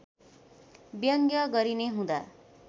व्यङ्ग्य गरिने हुँदा